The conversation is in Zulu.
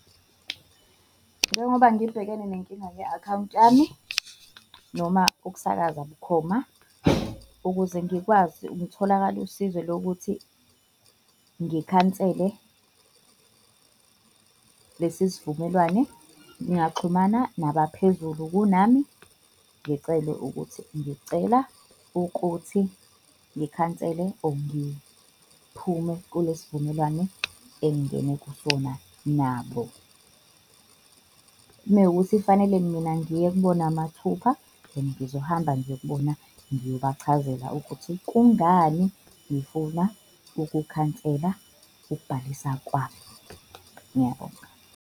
Njengoba ngibhekene nenkinga ye-akhawunti yami noma ukusakaza bukhoma, ukuze ngikwazi ngitholakale usizo lokuthi ngikhansele lesi sivumelwane, ngingaxhumana naphezulu kunami ngicele ukuthi ngicela ukuthi ngikhansele or ngiphume kulesi sivumelwano engingene kusona nabo. Mewukuthi fanele mina ngiye kubona mathupha, then ngizohamba ngiye kubona ngiyobachazela ukuthi kungani ngifuna ukukhansela ukubhalisa kwami. Ngiyabonga.